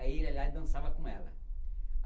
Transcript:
Aí ele ia lá e dançava com ela.